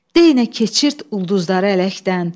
Deyinə keçirt ulduzları ələkdən.